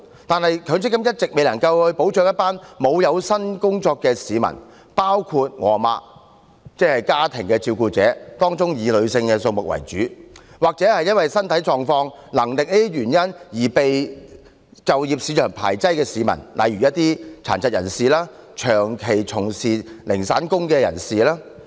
然而，強積金一直未能保障一群沒有有薪工作的市民——包括我的母親，即家庭照顧者，當中以女性為主——或因身體狀況和能力等原因而被就業市場排斥的市民，例如殘疾人士、長期從事零散工的人士。